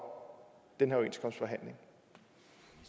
den